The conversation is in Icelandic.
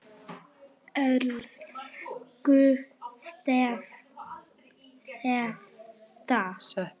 Elsku Setta.